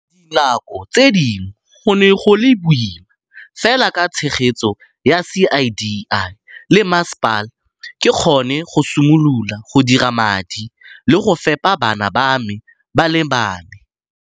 Dinako tse dingwe go ne go le boima, fela ka tshegetso ya CDI le mmasepala, ke kgonne go simolola go dira madi le go fepa bana ba me ba le bane.